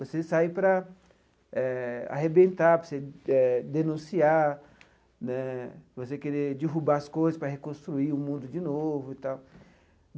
Você sai para eh arrebentar, para você eh denunciar né, você querer derrubar as coisas para reconstruir o mundo de novo e tal.